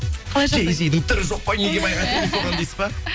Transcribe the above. қалай жағдай джэй зидің түрі жоқ қой неге байға тидің соған дейсіз па